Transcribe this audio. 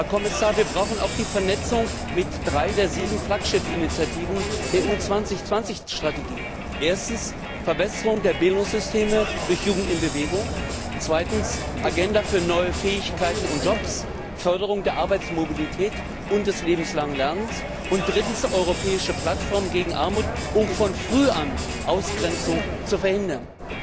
Herr Kommissar, wir brauchen auch die Vernetzung mit drei der sieben Flaggschiffinitiativen der Strategie Europa 2020 erstens der Verbesserung der Bildungssysteme durch Jugend in Bewegung, zweitens der Agenda für neue Fähigkeiten und Jobs, Förderung der Arbeitsmobilität und des lebenslangen Lernens und drittens der Europäischen Plattform gegen Armut, um von früh an Ausgrenzung zu verhindern.